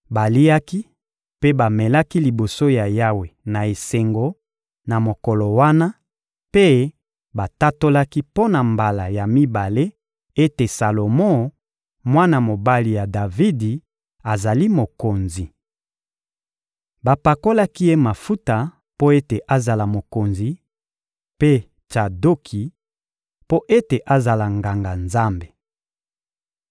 Baliaki mpe bamelaki liboso ya Yawe na esengo na mokolo wana, mpe batatolaki mpo na mbala ya mibale ete Salomo, mwana mobali ya Davidi, azali mokonzi. Bapakolaki ye mafuta mpo ete azala mokonzi; mpe Tsadoki, mpo ete azala Nganga-Nzambe.